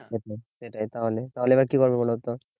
সেটাই সেটাই তাহলে তাহলে এবার কি হবে বলতো